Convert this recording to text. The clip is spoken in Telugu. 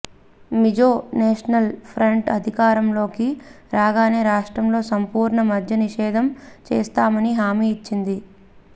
మిజో నేషనల్ ఫ్రంట్ అధికారంలోకి రాగానే రాష్ట్రంలో సంపూర్ణ మద్య నిషేధం చేస్తామని హామీ ఇచ్చింది